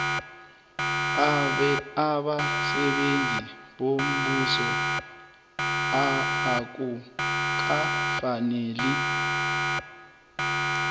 abasebenzi bombuso akukafaneli